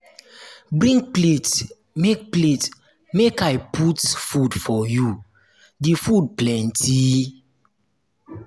bring plate make plate make i put food for you the food plenty.